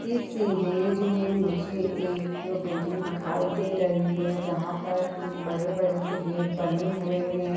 इस इमेज में मुझे एक बिल्डिग दिखाई दे रही है जहाँ पर तीन बड़े-बड़े से गेट बने हुए हैं।